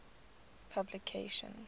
publication